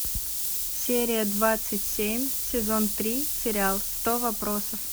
серия двадцать семь сезон три сериал сто вопросов